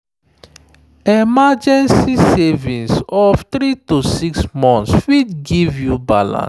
emergency savings of 3–6 months fit give you you balance.